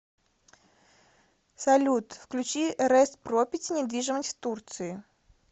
салют включи рэст пропети недвижимость в турции